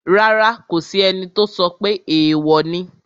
Rárá, kò sí ẹni tó sọ pé èèwò ni